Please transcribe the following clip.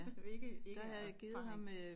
Ikke ikke af erfaring